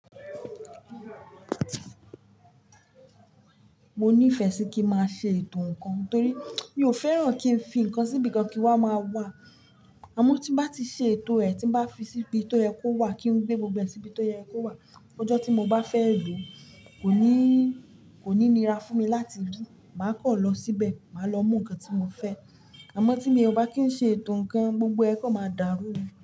Mo nífẹ̀ẹ́ sí kí n máa ṣe ètò ǹkan torí mi ò fẹ́ràn kí n fi ǹkan síbi kan kí n wa máa wà. Àmọ́ tí bá ti ṣe ètò rẹ̀ tí bá fi síbi tó yẹ kó wà kí n gbé gbogbo ẹ̀ síbi tó yẹ kó wà, ọjọ́ tí mo bá fẹ́ lo kò ní, kò ní nira fún mi láti ri. Màá kọ̀ lọ síbẹ̀, màá lọ mú ǹkan tí mo fẹ́. Àmọ́ tí mi ò bá kí n ṣe ètò ǹkan, gbogbo ẹ̀ kọ́ máa dárú ni.